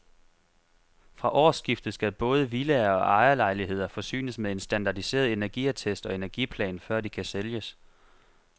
Fra årsskiftet skal både villaer og ejerlejligheder forsynes med en standardiseret energiattest og energiplan, før de kan sælges.